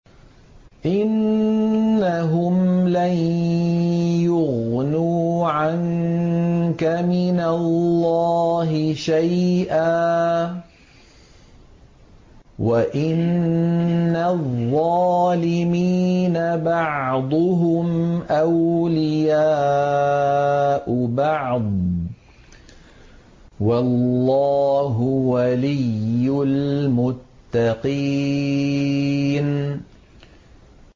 إِنَّهُمْ لَن يُغْنُوا عَنكَ مِنَ اللَّهِ شَيْئًا ۚ وَإِنَّ الظَّالِمِينَ بَعْضُهُمْ أَوْلِيَاءُ بَعْضٍ ۖ وَاللَّهُ وَلِيُّ الْمُتَّقِينَ